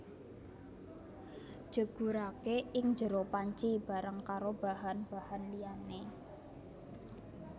Jegurake ing jero panci bareng karo bahan bahan liyane